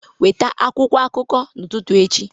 Weta akwụkwọ akụkọ n'ụtụtụ echi